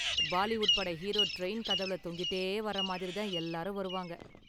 பாலிவுட் பட hero train கதவுல தொங்கிட்டே வர்ற மாதிரி தான் எல்லாரும் வருவாங்க.